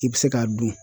I bɛ se k'a dun